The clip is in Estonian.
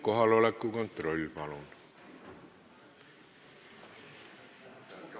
Kohaloleku kontroll, palun!